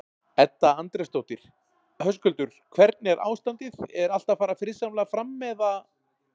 Edda Andrésdóttir: Höskuldur, hvernig er ástandið, er allt að fara friðsamlega fram eða?